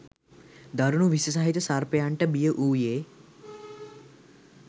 දරුණු විස සහිත සර්පයන්ට බිය වූයේ